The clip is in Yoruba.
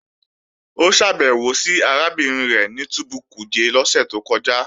Ó ṣàbẹ̀wò sí arábìnrin rẹ̀ ní túbú Kuje lọ́sẹ̀ tó kọjá